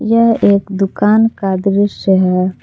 यह एक दुकान का दृश्य है।